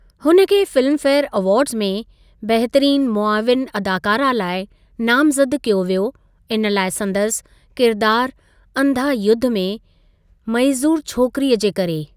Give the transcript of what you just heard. हुन खे Filmfare awards में 'बहितरीनु मुआविनु अदाकारा लाइ नामज़द कयो वियो इन लाइ संदसि किरिदारु अंधा युद्ध में मइज़ूर छोकिरीअ जे करे।